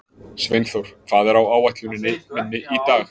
Sveinþór, hvað er á áætluninni minni í dag?